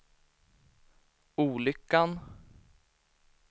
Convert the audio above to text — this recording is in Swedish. olyckan